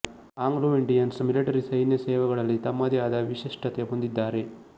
Anglo-Indians military ಸೈನ್ಯ ಸೇವೆಗಳಲ್ಲಿ ತಮ್ಮದೇ ಆದ ವಿಶಿಷ್ಟತೆ ಹೊಂದಿದ್ದಾರೆ